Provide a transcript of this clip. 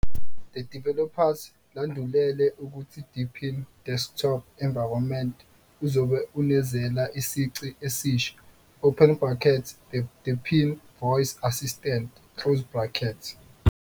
The developers landulele ukuthi Deepin Desktop Environment uzobe unezela isici esisha open brackets the Deepin Voice Assistant.